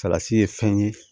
Salati ye fɛn ye